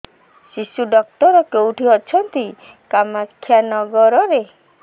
ଶିଶୁ ଡକ୍ଟର କୋଉଠି ଅଛନ୍ତି କାମାକ୍ଷାନଗରରେ